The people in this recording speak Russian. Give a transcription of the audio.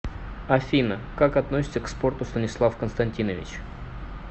афина как относится к спорту станислав константинович